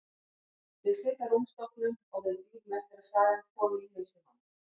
Ég sit á rúmstokknum og við bíðum eftir að sagan komi í hausinn á mér.